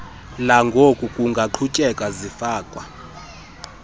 langoku kungaqhutyeka zifakwa